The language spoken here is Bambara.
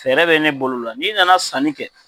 Fɛɛrɛ bɛ ne bolo la n'i nana sanni kɛ,